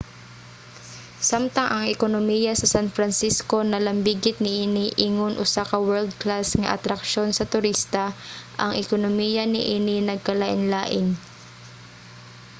samtang ang ekonomiya sa san francisco nalambigit niini ingon usa ka world-class nga atraksyon sa turista ang ekonomiya niini nagkalainlain